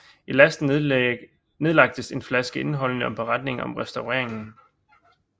I lasten nedlagtes en flaske indeholdende en beretning om restaureringen